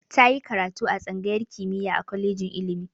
Ta yi karatu a tsangayar kimiyya a kolejin ilimi.